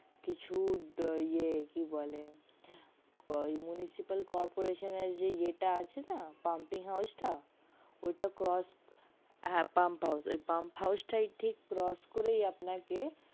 কিছু ইয়ে কি বলে municipal corporation যে ইয়ে টা আছে না pumpkin house টা ঐ টা crotch করে হ্যা pump house ঠিক crotch করে আপনাকে